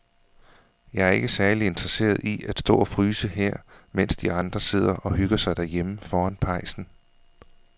Jeg er ikke særlig interesseret i at stå og fryse her, mens de andre sidder og hygger sig derhjemme foran pejsen.